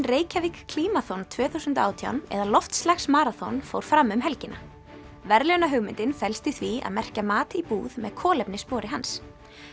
Reykjavík tvö þúsund og átján eða fór fram um helgina verðlaunahugmyndin felst í því að merkja mat í búð með kolefnisspori hans